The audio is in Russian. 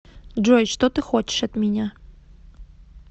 джой что ты хочешь от меня